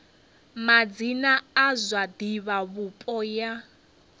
madzina a zwa divhavhupo ya